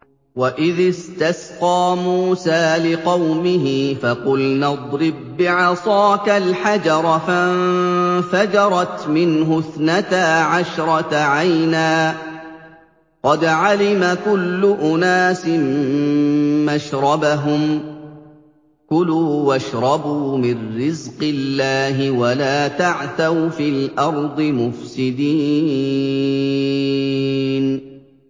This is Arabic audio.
۞ وَإِذِ اسْتَسْقَىٰ مُوسَىٰ لِقَوْمِهِ فَقُلْنَا اضْرِب بِّعَصَاكَ الْحَجَرَ ۖ فَانفَجَرَتْ مِنْهُ اثْنَتَا عَشْرَةَ عَيْنًا ۖ قَدْ عَلِمَ كُلُّ أُنَاسٍ مَّشْرَبَهُمْ ۖ كُلُوا وَاشْرَبُوا مِن رِّزْقِ اللَّهِ وَلَا تَعْثَوْا فِي الْأَرْضِ مُفْسِدِينَ